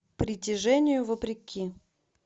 притяжению вопреки